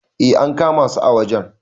eh an kama su a wajen